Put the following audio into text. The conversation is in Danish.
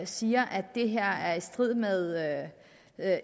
siger at det her er i strid med